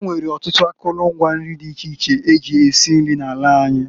E nwere ọtụtụ akụlụ ngwa nri dị iche iche e ji esi nri n'ala anyị.